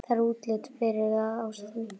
Það er útlit fyrir það, ástin.